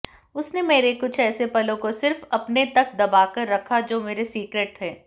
उसने मेरे कुछ ऐसे पलों को सिर्फ अपने तक दबाकर रखा जो मेरे सीक्रेट थे